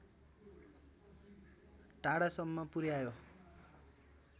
टाढासम्म पुर्‍यायो